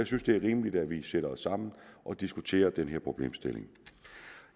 synes det er rimeligt at vi sætter os sammen og diskuterer den her problemstilling